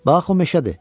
Bax o meşədir.